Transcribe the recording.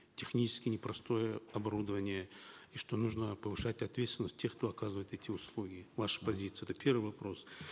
технически непростое оборудование и что нужно повышать ответственность тех кто оказывает эти услуги ваша позиция это первый вопрос